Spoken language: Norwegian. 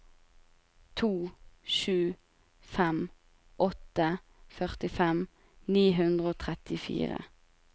to sju fem åtte førtifem ni hundre og trettifire